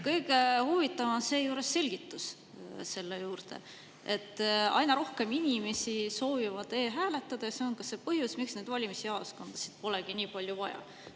Kõige huvitavam on seejuures selgitus selle juurde, et aina rohkem inimesi soovib e-hääletada – see on põhjus, miks valimisjaoskondasid pole nii palju vaja.